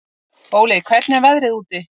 Óli, hvernig er veðrið úti?